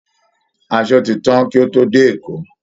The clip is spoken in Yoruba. Asọ ti tán kí ó tó dé Èkó